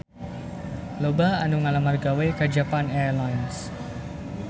Loba anu ngalamar gawe ka Japan Airlines